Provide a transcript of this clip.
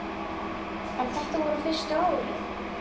En þetta voru fyrstu árin.